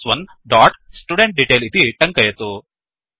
स्1 dot student detail इति टङ्कयतु